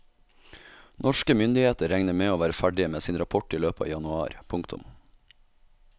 Norske myndigheter regner med å være ferdige med sin rapport i løpet av januar. punktum